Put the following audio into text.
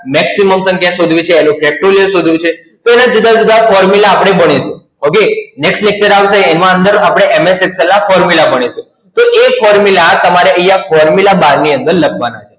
Maximum પણ ત્યાં શોધવી છે અને Factorial શોધવું છે. તો એના જુદા જુદા Formula આપણે બનશે, OKNext lecture આવશે એમાં અંદર આપણે MS Excel ના Formula ભણીશું. તો એ Formula તમારે અહિયાં Formula Bar ની અંદર લખવાની